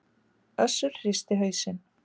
Össur hristi hausinn.